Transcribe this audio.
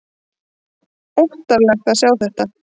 Óttalegt að sjá þetta!